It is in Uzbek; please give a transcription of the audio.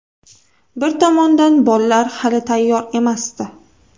Bir tomondan bollar hali tayyor emasdi.